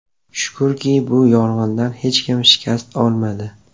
Shukurki, bu yong‘inda hech kim shikast olmadi.